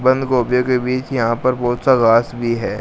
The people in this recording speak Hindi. बंद गोभियों के बीच यहां पर बहोत सा घास भी है।